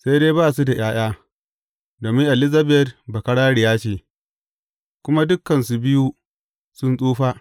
Sai dai ba su da ’ya’ya, domin Elizabet bakararriya ce; kuma dukansu biyu sun tsufa.